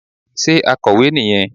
Sé akọ̀wé nì yẹn